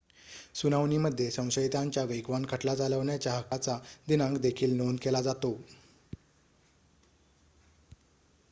सुनावणीमध्ये संशयितांच्या वेगवान खटला चालवण्याच्या हक्काचा दिनांक देखील नोंद केला जातो